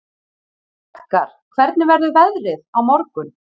Edgar, hvernig verður veðrið á morgun?